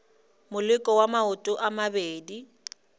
moleko wa maoto a mabedi